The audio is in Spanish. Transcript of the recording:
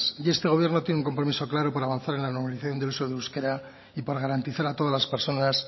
y este gobierno tiene un compromiso claro para avanzar en la normalización del uso del euskera y para garantizar a todas las personas